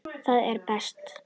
Það er best.